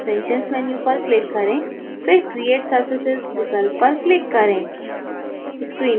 extensions menu पर click करें फिर create surfaces विकल्प पर click करें